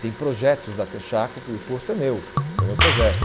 Tem projetos da Texaco que o posto é meu, foi meu projeto.